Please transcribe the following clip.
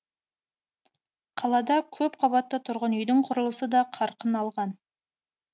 қалада көп қабатты тұрғын үйдің құрылысы да қарқын алған